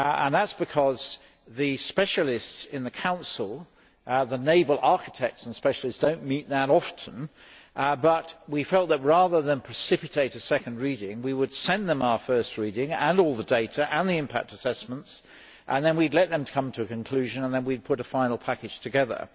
That is because the specialists in the Council the naval architects and specialists do not meet that often, but we felt that, rather than precipitate a second reading, we would send them our first reading and all the data and the impact assessments, and then we would let them come to a conclusion and then we would put a final package together.